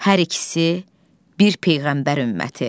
hər ikisi, bir peyğəmbər ümməti.